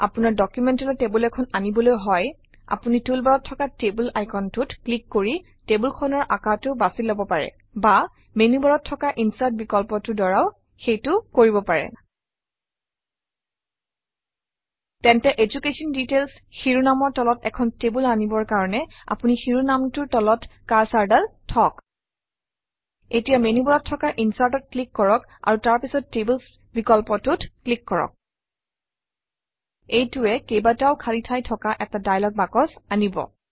আপোনাৰ ডকুমেণ্টলৈ টেবুল এখন আনিবলৈ হয় আপুনি টুলবাৰত থকা টেবল আইকনটোত ক্লিক কৰি টেবুলখনৰ আকাৰটো বাছি লব পাৰে বা মেনুবাৰত থকা ইনচাৰ্ট বিকল্পটোৰ দ্বাৰাও সেইটো কৰিব পাৰে তেন্তে এডুকেশ্যন ডিটেইলছ শিৰোনামৰ তলত এখন টেবুল আনিবৰ কাৰণে আপুনি শিৰোনামটোৰ তলত কাৰ্চৰডাল থওক এতিয়া মেনুবাৰত থকা Insert-অত ক্লিক কৰক আৰু তাৰ পাছত টেবলছ বিকল্পটোত ক্লিক কৰক এইটোৱে কেইবাটাও খালী ঠাই থকা এটা দায়লগ বাকচ আনিব